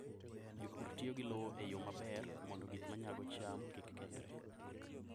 Jopur tiyo gi lowo e yo maber mondo gik ma nyago cham kik kethre.